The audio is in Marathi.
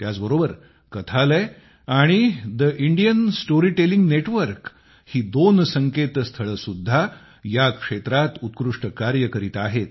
त्याचबरोबर कथालय आणि ठे इंडियन स्टोरीटेलिंग नेटवर्क ही दोन संकेतस्थळे सुद्धा या क्षेत्रात उत्कृष्ट कार्य करीत आहेत